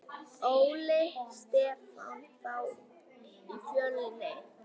Óli Stefán þá í Fjölni?